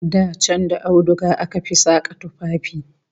Da can da auduga aka fi saka tufafi